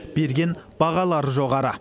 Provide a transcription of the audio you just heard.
берген бағалары жоғары